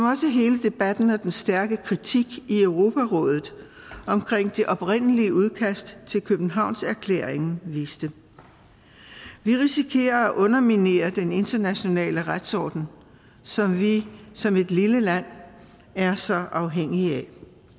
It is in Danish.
også hele debatten og den stærke kritik i europarådet omkring det oprindelige udkast til københavnererklæringen viste vi risikerer at underminere den internationale retsorden som vi som et lille land er så afhængige af